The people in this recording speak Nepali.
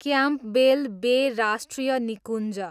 क्याम्पबेल बे राष्ट्रिय निकुञ्ज